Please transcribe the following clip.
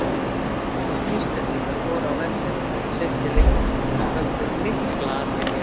Yfir þúsund Íslendingar voru á vellinum í seinni leiknum og vöktu mikla athygli.